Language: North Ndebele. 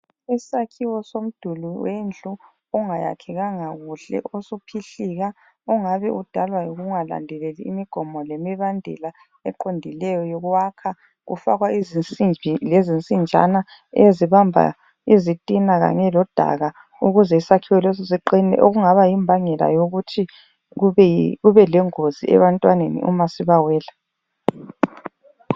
Isakhiwo somduli wendlu ongayakhekanga kuhle osuphihlika ongabe udalwa yikungalandeleli imigomo lemibandela eqondileyo yokwakha. Kufakwa izinsimbi lezinsijana ezibamba izitina kanye lo daka ukuze isakhiwo leso siqine. Okungaba yimbangela yokuthi kube lengozi ebantwaneni uma sibawela.